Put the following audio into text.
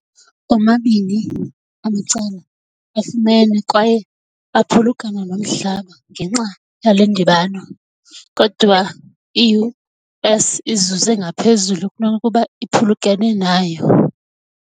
Omabini amacala afumene kwaye aphulukana nomhlaba ngenxa yale ndibano, kodwa i-US izuze ngaphezulu kunokuba iphulukene nayo.